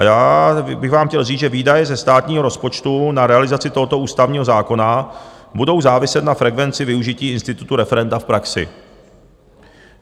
A já bych vám chtěl říct, že výdaje ze státního rozpočtu na realizaci tohoto ústavního zákona budou záviset na frekvenci využití institutu referenda v praxi.